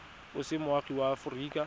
o se moagi wa aforika